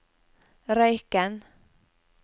Røyken